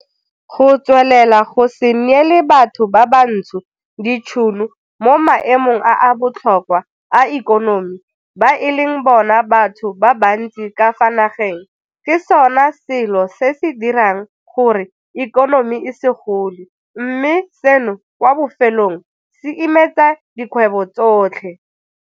Go tswelela go se neele batho ba bantsho ditšhono mo maemong a a botlhokwa a ikonomi ba e leng bona batho ba bantsi ka fa nageng ke sona selo se se dirang gore ikonomi e se gole, mme seno kwa bofelong se imetsa dikgwebo tsotlhe.